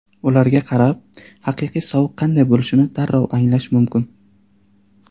Ularga qarab, haqiqiy sovuq qanday bo‘lishini darrov anglash mumkin.